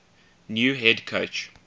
new head coach